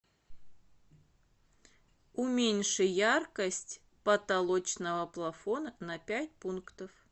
уменьши яркость потолочного плафона на пять пунктов